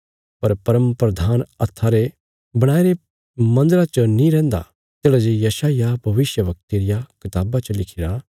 पर परमप्रधान हत्था रे बणाईरे मन्दरा च नीं रहदा तेढ़ा जे यशायाह भविष्यवक्ते रिया कताबा च लिखिरा